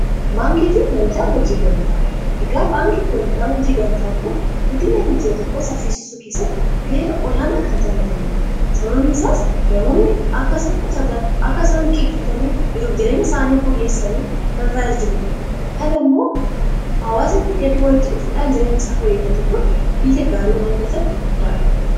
baankii fi waldaa hojii gamtaa egaa baankiifi waldaa hojii gamtaa kun guddina biyyiya tokko saffisisuu keessatti ga'ee olaanaa kan taphatanidha sababni isaas namoonni akka isaan liqeeffatanii jiruuf jireenya isaanii fooyyessanii isaan tajaajiludha .kan ammoo awaazni hedduu warritti dhufuudhaan jireenya isaaf hooyyeffate kun biyya gaarii umuu keessatti guddaaha